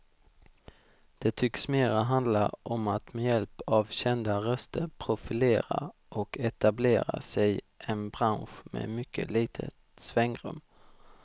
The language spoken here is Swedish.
Det tycks mera handla om att med hjälp av kända röster profilera och etablera sig en bransch med mycket litet svängrum.